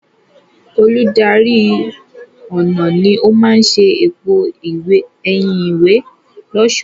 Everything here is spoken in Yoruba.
Olùdarí ọnà ni ó máa ṣe èpo ẹ̀yìn ìwé lọ́ṣọ̀ọ́.